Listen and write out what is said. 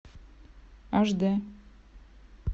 аш д